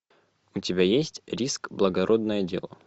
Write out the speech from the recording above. у тебя есть риск благородное дело